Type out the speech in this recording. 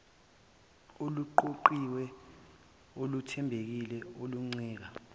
oluqoqiwe oluthembekile oluncike